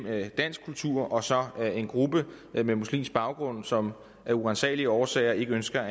dansk kultur og så en gruppe med muslimsk baggrund som af uransagelige årsager ikke ønsker